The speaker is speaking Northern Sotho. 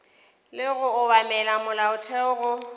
le go obamela molaotheo go